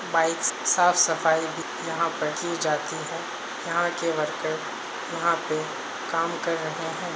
Bikes साफ सफाई यहाँ पर की जाती है यहाँ के वर्कर यहाँ पे काम कर रहे हैं।